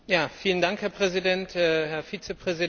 Herr Präsident, Herr Vizepräsident!